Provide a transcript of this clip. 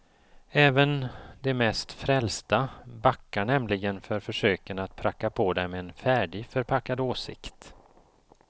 Även de mest frälsta backar nämligen för försöken att pracka på dem en färdigförpackad åsikt.